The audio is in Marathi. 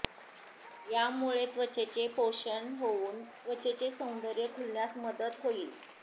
यामुळे त्वचेचे पोषण होऊन त्वचेचे सौंदर्य खुलण्यास मदत होईल